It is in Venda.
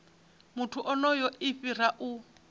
muthu onoyo i fhira u